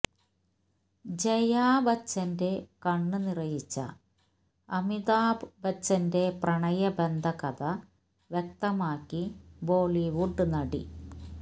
ജയാ ബച്ചന്റെ കണ്ണ് നിറയിച്ച അമിതാഭ് ബച്ചന്റെ പ്രണയബന്ധകഥ വ്യക്തമാക്കി ബോളിവുഡ് നടി